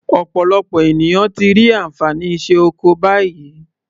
Ọ̀pọ̀lọpọ̀ ènìyàn ti rí ànfàní iṣẹ́ oko báyìí.